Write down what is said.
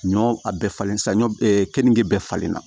Ɲɔ a bɛɛ falen saɲɔ kenige bɛɛ falen na